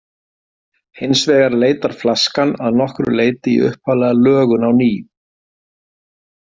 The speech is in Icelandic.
Hins vegar leitar flaskan að nokkru leyti í upphaflega lögun á ný.